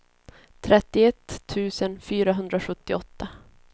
trettioett tusen fyrahundrasjuttioåtta